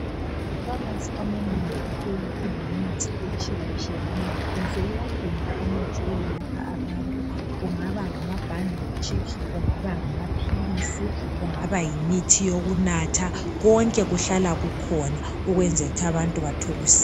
Amafamasi amanengi ahleli elemithi etshiyetshiyeneyo phose yonke nje imithi abantu kungaba ngamabhandetshi kungaba ngamaphilisi kungaba yimithi yokunatha konke kuhlala kukhona ukwenzela ukuthi abantu bathole usizo.